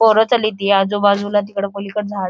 पोरं चालीती आजूबाजूला तिकड पलिकड झाडं--